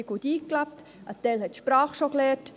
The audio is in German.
Ein Teil von ihnen hat die Sprache bereits gelernt.